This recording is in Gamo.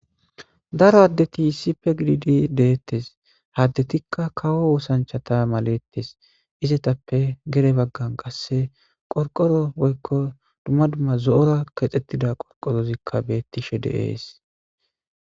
Daro adeti issipe gididi de'etes ha adetika kawo osanicha maletes izatape gede bagan qasi qoriqoro woyiko duma duma zo'ora kexetida qoriqorizika betishe de'es